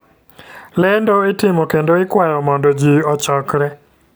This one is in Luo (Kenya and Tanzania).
Lendo itimo kendo ikwayo mondo ji ochokre .